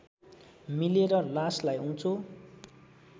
मिलेर लासलाई उँचो